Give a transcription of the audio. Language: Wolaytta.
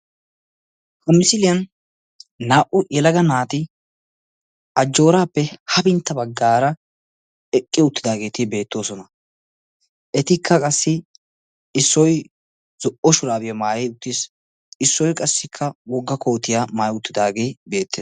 Ha misiliyaan naa"u yelaga naati ajjorappe hafintta bagaara eqqi uttidaageeti beettoosona. Etikka qassi issoy zo'o shurabiya maayi uttiis. Issoy qassikka wogga koottiya maayi uttidaage beettees.